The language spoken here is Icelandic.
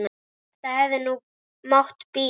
Þetta hefði nú mátt bíða.